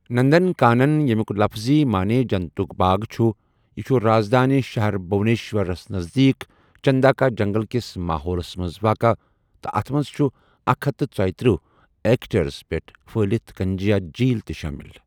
نندنکانن، ییٚمیُک لفظی معنی جنتُک باغ چھُ، یہِ چھُ رازدٲنہِ شہر بھٗونیشورَس نزدیٖک، چنداکا جنگل کِس ماحولَس منٛز واقعہٕ، تہٕ اَتھ منٛز چھُ اکھ ہتھَ ژٔیٕتٔرہ ایکڑس پیٹھ پھہلِتھ کنجیا جھیٖل تہِ شٲمِل۔